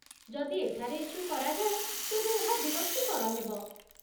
ଯଦି ଏଠାରେ ଇସ୍ୟୁ କରାଯାଏ, ତେବେ ଏହା ବିରକ୍ତିକର ହେବ